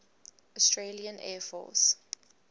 australian air force